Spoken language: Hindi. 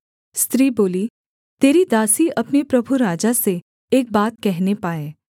स्त्री बोली तेरी दासी अपने प्रभु राजा से एक बात कहने पाए